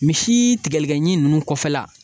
Misi tigɛlikɛɲin ninnu kɔfɛla